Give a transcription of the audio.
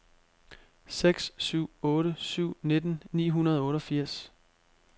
seks syv otte syv nitten ni hundrede og otteogfirs